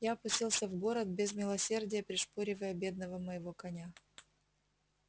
я пустился в город без милосердия пришпоривая бедного моего коня